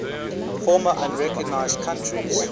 former unrecognized countries